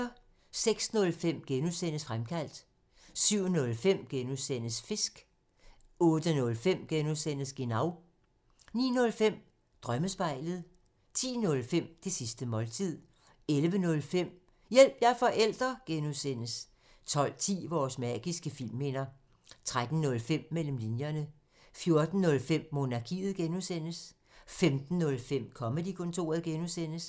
06:05: Fremkaldt (G) 07:05: Fisk (G) 08:05: Genau (G) 09:05: Drømmespejlet 10:05: Det sidste måltid 11:05: Hjælp – jeg er forælder! (G) 12:10: Vores magiske filmminder 13:05: Mellem linjerne 14:05: Monarkiet (G) 15:05: Comedy-kontoret (G)